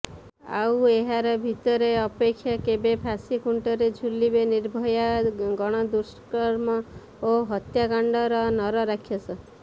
ଆଉ ଏହାରି ଭିତରେ ଅପେକ୍ଷା କେବେ ଫାଶୀ ଖୁଣ୍ଟରେ ଝୁଲିବେ ନିର୍ଭୟା ଗଣଦୁଷ୍କର୍ମ ଓ ହତ୍ୟାକାଣ୍ଡର ନରରାକ୍ଷସ